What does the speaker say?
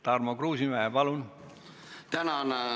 Tarmo Kruusimäe, palun!